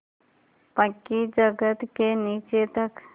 पक्की जगत के नीचे तक